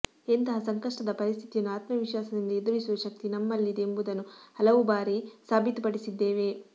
ಎಂತಹ ಸಂಕಷ್ಟದ ಪರಿಸ್ಥಿತಿಯನ್ನು ಆತ್ಮವಿಶ್ವಾಸ ದಿಂದ ಎದುರಿಸುವಶಕ್ತಿ ನಮ್ಮ ಲ್ಲಿದೆ ಎಂಬುದನ್ನು ಹಲವಾರು ಬಾರಿ ಸಾಬೀತುಪಡಿಸಿದ್ದೇವೆ